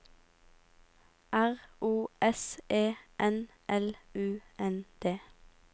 R O S E N L U N D